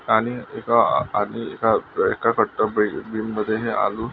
आणि एक आणि एका बिनमद्धे हे आलू--